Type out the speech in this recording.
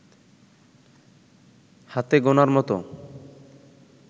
হাতে গোনার মতো